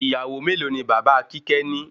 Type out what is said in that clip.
Ìyàwó melo ni bàbá kíkẹ́ ni?